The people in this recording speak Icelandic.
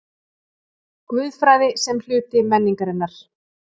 GUÐFRÆÐI SEM HLUTI MENNINGARINNAR